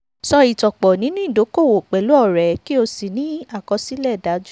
ṣọ ìtànpọ̀ nínú ìdókòwò pẹ̀lú ọ̀rẹ́ kí o sì ní àkọsílẹ̀ dájú.